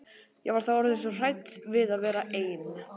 Ég var þá orðin svo hrædd við að vera ein.